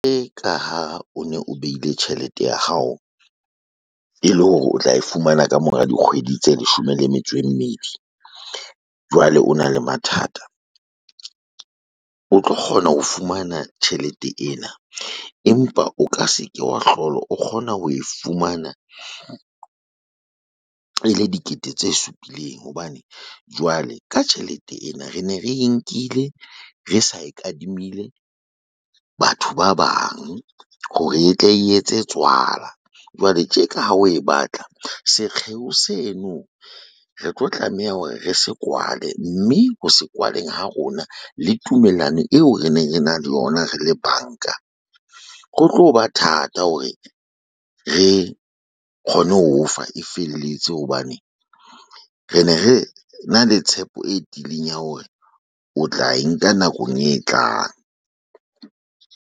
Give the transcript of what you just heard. Ka ha o ne o behile tjhelete ya hao e le hore o tla e fumana ka mora dikgwedi tse leshome le metso e mmedi, jwale o na le mathata, o tlo kgona ho fumana tjhelete ena, empa o ka se ke wa hlola o kgona ho e fumana. E le dikete tse supileng hobane jwale ka tjhelete ena re ne re nkile re sa e kadimile batho ba bang hore e tle etse tswala jwale tje ka ha o e batla sekgeo seno, re tlo tlameha hore re se kwale mme ho se kwaleng ha rona le tumellano eo re ne re na le yona re le banka, ho tlo ba thata hore re kgone ho o fa e felletse hobane re ne re na le tshepo e tebileng ya hore o tla e nka nakong e tlang.